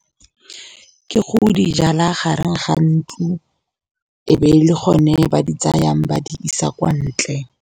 Ke go dijala gareng ga ntlo, e be le gone ba di tsayang ba di isa kwa ntle.